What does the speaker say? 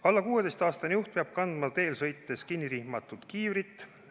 Alla 16-aastane juht peab kandma teel sõites kinnirihmatud kiivrit.